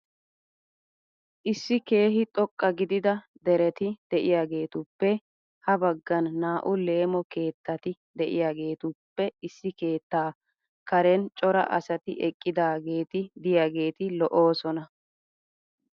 Issi keehi xoqqa gidida dereti de'iyaagetuppe ha baggan naa"u leemo keettati de"iyageetuppe issi keettaa karen cora asti eqqidaageeti diyageeti lo'oosona.